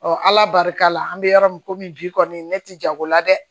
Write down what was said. ala barika la an bɛ yɔrɔ min na komi bi kɔni ne tɛ jago la dɛ